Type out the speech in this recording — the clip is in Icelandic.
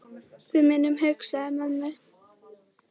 Við munum hugsa um mömmu.